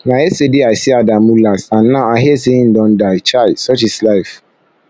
na yesterday i see adamu last and now i hear say im don die chai such is life